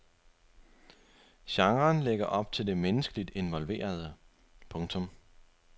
Genren lægger op til det menneskeligt involverede. punktum